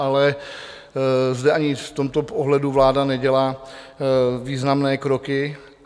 Ale zde, ani v tomto ohledu, vláda nedělá významné kroky.